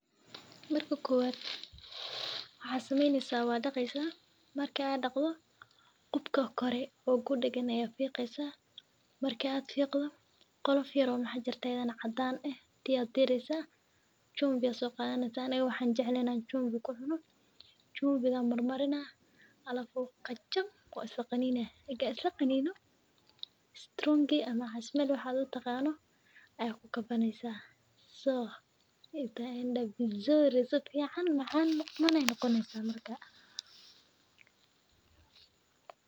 Marka kuwad, waxa samiinin sa wada qeysaa markii aad dhakhdho qubka kore oo guud ayeey ganan fiiqueysa. Markii aad fiiqdo qolof yaroo maxa jirta aydan cadan ah tiyo diraysa, chumvi iyo soo qaadanaya, tan waxaan jeclinaan chumvi ko kucuno. chumvi marmarina ah alafu qajam ku isla qaniine. Ega isla qaniino strong tea ama casmel waxaad u taqaano ayay ku ka banaysaa. Soo ita enda vizuri si ficaan macan macan muuqanahay noqonaysa markaa.